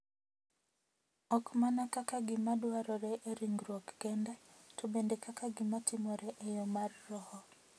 Ok mana kaka gima dwarore e ringruok kende, to bende kaka gima timore e yo mar roho .